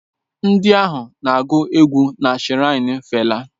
Ndị ahụ na-agụ egwú na shiraini fela